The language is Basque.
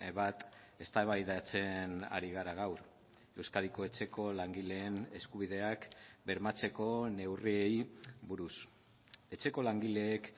bat eztabaidatzen ari gara gaur euskadiko etxeko langileen eskubideak bermatzeko neurriei buruz etxeko langileek